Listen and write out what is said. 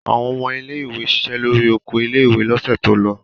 Àwọn ọmọ ilé-ìwé ṣiṣẹ́ lórí oko ilé-ìwé lọ́sẹ̀ tó lọ.